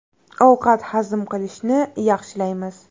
Ovqat hazm qilishni yaxshilaymiz.